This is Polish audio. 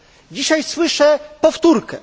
Dzisiaj słyszę powtórkę.